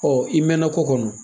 i mɛna ko kɔnɔ.